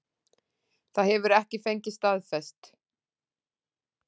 Það hefur ekki fengist staðfest